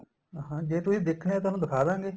ਹਾਂ ਜੇ ਤੁਸੀਂ ਦੇਖਣੇ ਏ ਤੁਹਾਨੂੰ ਦਿੱਖਾਦਾਗੇ